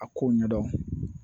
A kow ɲɛdɔn